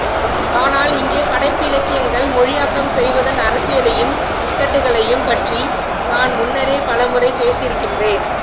ஆனால் இங்கே படைப்பிலக்கியங்கள் மொழியாக்கம் செய்வதன் அரசியலையும் இக்கட்டுகளையும் பற்றி நான் முன்னரே பலமுறை பேசியிருக்கிறேன்